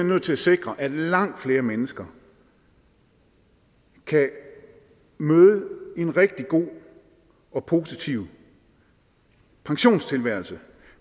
nødt til at sikre at langt flere mennesker kan møde en rigtig god og positiv pensionstilværelse